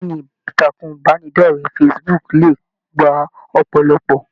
Ìkànnì ìtàkùn ìbánidọ̀rẹ̀ Facebook le gbà ọpọlọpọ.